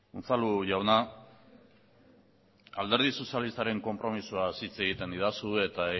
unzalu jauna alderdi sozilistaren konpromisoaz hitz egiten didazu eta